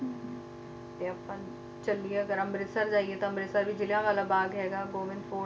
ਤੇ ਆਪਾਂ ਚਲੀਏ ਅਗਰ ਅੰਮ੍ਰਿਤਸਰ ਜਾਈਏ ਤਾਂ ਅੰਮ੍ਰਿਤਸਰ ਵੀ ਜਲ੍ਹਿਆਂਵਾਲਾ ਬਾਗ ਹੈਗਾ ਗੋਬਿੰਦ ਕੋਟ ਹੈਗੇ